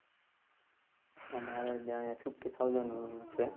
અમારે ત્યાં fifty thousand છે.